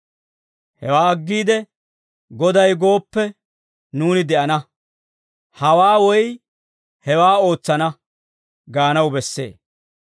Hewaa aggiide, «Goday gooppe, nuuni de'ana; hawaa woy hewaa ootsana» gaanaw bessee.